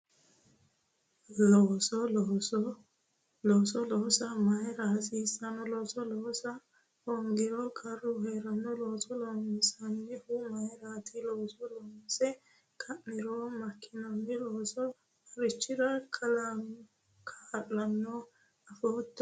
Looso loosa mayra hasiissanno looso loosa hoongiro qarru heeranno looso loonsannihu mayraati looso loose ka'niro makkinanni loosu marichira kaa'lannoro afootto